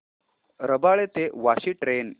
रबाळे ते वाशी ट्रेन